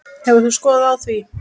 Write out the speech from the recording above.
Hefur þú skoðun á því?